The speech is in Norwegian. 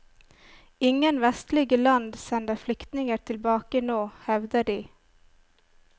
Ingen vestlige land sender flyktninger tilbake nå, hevder de.